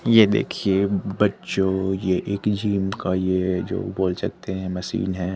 ये देखिए बच्चों ये एक जिम का जो बोल सकते हैं मशीन है।